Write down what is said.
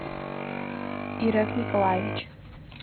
ирак николаевич